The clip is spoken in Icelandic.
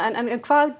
hvað